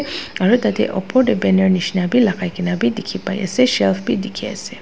aru tah teh upor teh banner nisna bhi lagai ke na bhi dikhi pai ase shelf bhi dikhi ase.